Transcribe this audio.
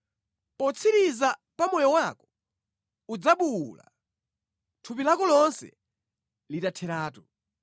Potsiriza pa moyo wako udzabuwula, thupi lako lonse litatheratu.